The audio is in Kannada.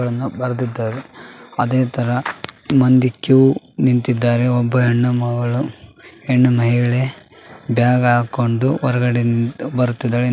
ಅದೇ ತರ ಮಂದಿ ಕ್ಯೂ ನಿಂತಿದ್ಧಾರೆ ಒಬ್ಬ ಹೆಣ್ಣು ಮಗಳು ಹೆಣ್ಣು ಮಹಿಳೆ ಬ್ಯಾಗ್‌ ಹಾಕಿಕೊಂಡು ಹೊರಗಡೆ ಬರುತ್ತಿದ್ದಾಳೆ ಇನೊಬ್ಬ ಮ್ಯಾಲೆ ಇಳಿತ್ತಿದ್ದಾನೆ.